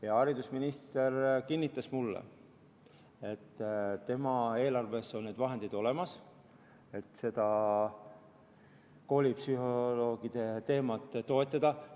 Hea haridusminister kinnitas mulle, et tema eelarves on need vahendid olemas, et koolipsühholoogide teemat toetada.